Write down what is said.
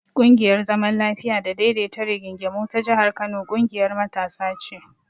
ƙungiyar zaman lafiya da daidaita rigingimu ta jihar Kano ƙungiyar matasa ce.